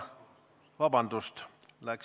Vabandust!